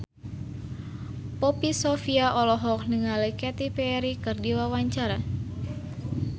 Poppy Sovia olohok ningali Katy Perry keur diwawancara